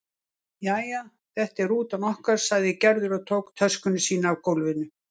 Jæja, þetta er rútan okkar sagði Gerður og tók töskuna sína af gólfinu.